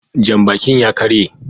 Janbakin ya ƙarye